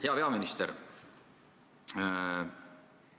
Hea peaminister!